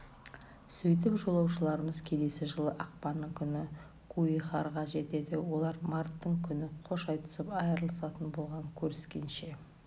сөйтіп жолаушыларымыз келесі жылы ақпанның күні куихараға жетеді олар марттың күні қош айтысып айрылысатын болған көріскенше